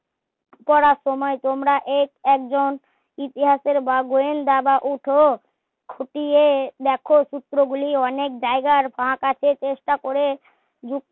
পড়ার সময় তোমরা এ একজন ইতিহাসের বা গোয়েন্দা বা ওঠো খুঁটিয়ে দেখো সূত্র গুলি অনেক জাইগার ফাক আছে চেষ্টা করে